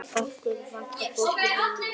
Okkur vantar fólk í vinnu.